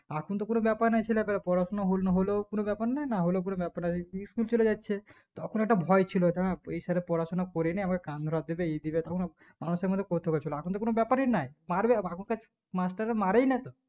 এখন তো কোনো বেপার নাই ছেলা পিলার পড়াশোনা হলো নাহলো কোনো ব্যাপার নাই না হলেও কোনো ব্যাপার নাই school চলে যাচ্ছে তখন একটা ভয় ছিল কারণ এই sir এর পড়াশোনা করিনি আমার কান ধরা আমরা সেই মতো করতে পারছি না এখন তো কোনো ব্যাপারই নেই পারবে এখন কার মাস্টার রা মরেই না তো